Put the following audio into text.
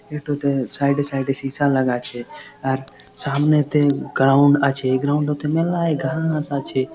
এটোতে side -এ side -এ সিসা লাগা আছে। আর সামনেতে গ্রাউন্ড আছে গ্রাউন্ড -এ মেলায় ঘাস আছে।